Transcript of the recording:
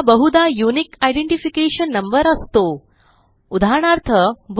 हा बहुधा unique identification number असतो उदाहरणार्थ